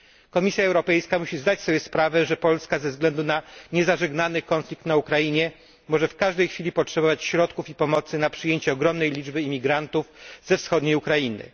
Komisja Europejska musi zdać sobie sprawę, że Polska ze względu na niezażegnany konflikt na Ukrainie może w każdej chwili potrzebować środków i pomocy na przyjęcie ogromnej liczby imigrantów ze wschodniej Ukrainy.